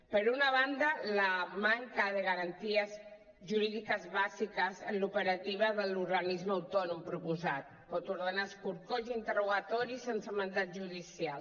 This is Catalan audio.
per una banda la manca de garanties jurídiques bàsiques en l’operativa de l’organisme autònom proposat pot ordenar escorcolls interrogatoris sense mandat judicial